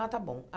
Ah, tá bom.